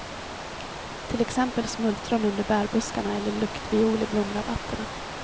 Till exempel smultron under bärbuskarna eller luktviol i blomrabatterna.